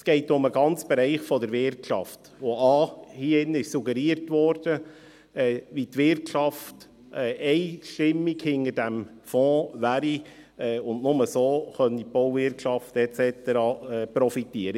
Es geht um den ganzen Bereich der Wirtschaft, bei dem a) suggeriert wurde, wie einstimmig die Wirtschaft hinter diesem Fonds stünde, und nur so könne die Bauwirtschaft et cetera profitieren.